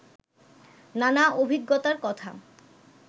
নানা অভিজ্ঞতার কথা